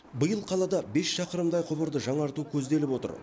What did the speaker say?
биыл қалада бес шақырымдай құбырды жаңарту көзделіп отыр